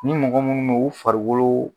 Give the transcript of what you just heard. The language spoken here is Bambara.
Ni mɔgɔ minnu don u farikolo